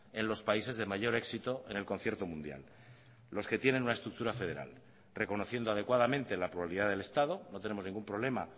en los países de mayor éxito en el concierto mundial los que tienen una estructura federal reconociendo adecuadamente la pluralidad del estado no tenemos ningún problema